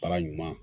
Baara ɲuman